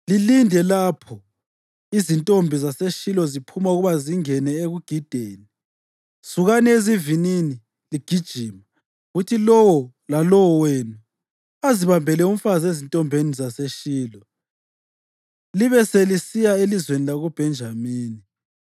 lilinde. Lapho izintombi zaseShilo ziphuma ukuba zingene ekugideni, sukani ezivinini ligijima kuthi lowo lalowo wenu azibambele umfazi ezintombini zaseShilo libe selisiya elizweni lakoBhenjamini.